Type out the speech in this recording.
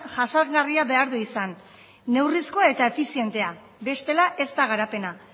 jasangarria behar du izan neurrizko eta efizientea bestela ez da garapena